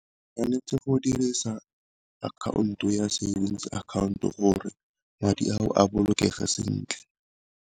Tshwanetse go dirisa account o ya savings account-o gore madi ao a bolokege sentle.